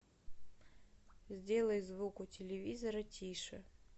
сделай звук у телевизора тише